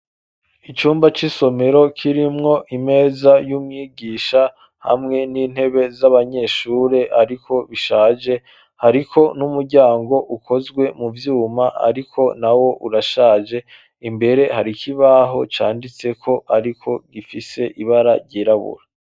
Icumba c'isomero kirimwo imeza y'umwigisha hamwe n'intebe z'abanyeshure, ariko bishaje hariko n'umuryango ukozwe mu vyuma, ariko na wo urashaje imbere hari ikibaho canditseko, ariko gifise ibara ryirabura.